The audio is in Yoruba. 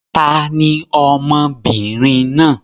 Ta ni ọmọ obìnrin náà?